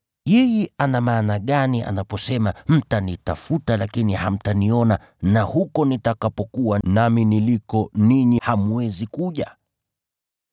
Yeye ana maana gani anaposema, ‘Mtanitafuta lakini hamtaniona,’ na, ‘nami niliko ninyi hamwezi kuja’ ?”